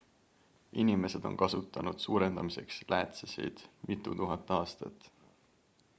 inimesed on kasutanud suurendamiseks läätsesid mitutuhat aastat